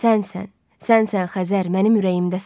Sənsən, sənsən Xəzər mənim ürəyimdəsən.